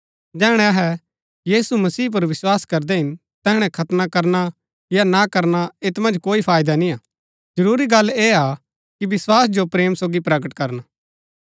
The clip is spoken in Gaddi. जैहणै अहै यीशु मसीह पुर विस्वास करदै हिन तैहणै खतना करना या ना करना ऐत मन्ज कोई फायदा निय्आ जरूरी गल्ल ऐह हा कि विस्वास जो प्रेम सोगी प्रकट करन